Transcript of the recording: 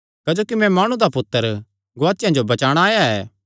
क्जोकि मैं माणु दा पुत्तर गुआचेआं जो बचाणा आया ऐ